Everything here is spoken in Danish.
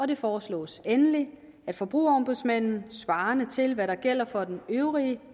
det foreslås endelig at forbrugerombudsmanden svarende til hvad der gælder for den øvrige